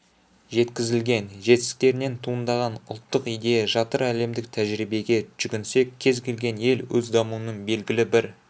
жеткізілген жетістіктерінен туындаған ұлттық идея жатыр әлемдік тәжірибеге жүгінсек кез-келген ел өз дамуының белгілі бір